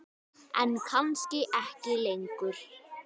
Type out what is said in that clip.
En kannski ekki lengur.